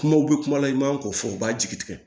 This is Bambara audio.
Kumaw bɛ kuma la i man k'o fɔ u b'a jigi tigɛ